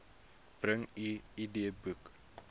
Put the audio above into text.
bring u idboek